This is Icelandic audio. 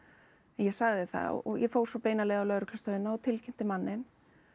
ég sagði það og fór svo beina leið á lögreglustöðina og tilkynnti manninn